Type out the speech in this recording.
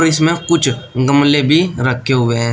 इसमें कुछ गमले भी रखें हुए हैं।